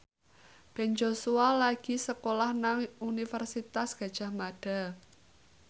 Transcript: Ben Joshua lagi sekolah nang Universitas Gadjah Mada